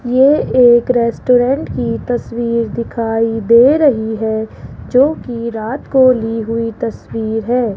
ये एक रेस्टोरेंट की तस्वीर दिखाई दे रही है जो की रात को ली हुई तस्वीर है।